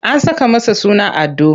An saka masa suna Ado.